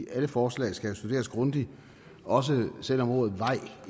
alle forslag skal jo studeres grundigt også selv om ordet vej